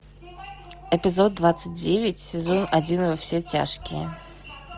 эпизод двадцать девять сезон один во все тяжкие